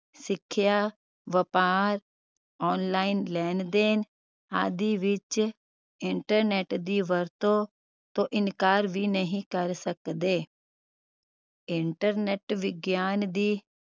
ਸਿਖਿਆ ਵਪਾਰ online ਲੈਣ ਦੇਣ ਆਦਿ ਵਿਚ internet ਦੀ ਵਰਤੋਂ ਤੋਂ ਇਨਕਾਰ ਵੀ ਨਹੀਂ ਕਰ ਸਕਦੇ internet ਵਿਗਿਆਨ ਦੀ